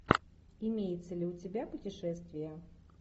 имеется ли у тебя путешествия